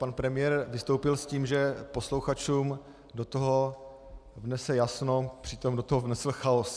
Pan premiér vystoupil s tím, že posluchačům do toho vnese jasno, přitom do toho vnesl chaos.